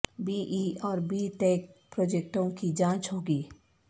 be E اور B tech پروجیکٹوں کی جانچ ہوگی